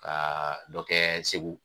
Ka dɔ kɛ Segu